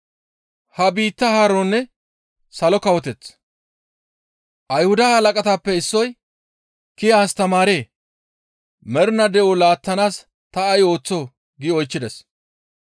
Ayhudata halaqatappe issoy, «Kiya astamaaree! Mernaa de7o laattanaas ta ay ooththoo?» gi oychchides.